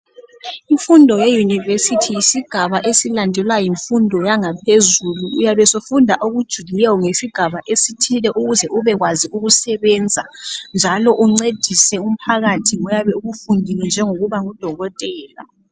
imfundo ye university yisigaba esilandelwa yimfundo yangaphezulu uyabe usufunda okujulileyo ngesigaba esithile ukuze ube kwazi ukusebenza njalo uncedise umphakathi ngoyabe ukufundile njengokuba ngu dokotela